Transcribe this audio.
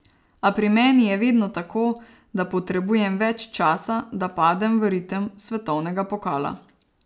A pri meni je vedno tako, da potrebujem več časa, da padem v ritem svetovnega pokala.